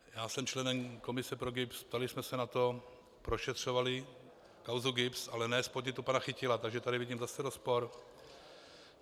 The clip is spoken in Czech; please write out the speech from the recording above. Já jsem členem komise pro GIBS, ptali jsme se na to, prošetřovali kauzu GIBS, ale ne z podnětu pana Chytila, takže tady vidím zase rozpor.